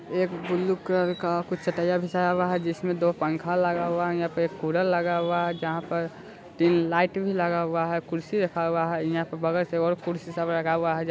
एक blue colour का कुछ चटाइयां बिछायी गयी जिसमें दो पंखे लगे हुआ है और यहाँ पे कूलर लगा हुआ है जहाँ पर तीन लाइट भी लाग हुआ है कुर्सी रखा हुआ है यहाँ पे बगल से कुर्सी सब रखा हुआ है।